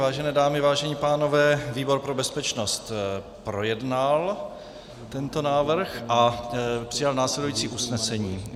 Vážené dámy, vážení pánové, výbor pro bezpečnost projednal tento návrh a přijal následující usnesení.